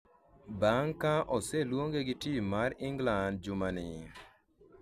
bang' ka oseluonge gi tim mar Inglan jumani